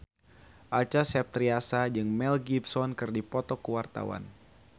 Acha Septriasa jeung Mel Gibson keur dipoto ku wartawan